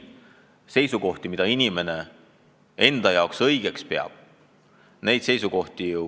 Seisukohti, mida inimene õigeks peab, ta ei pea muutma.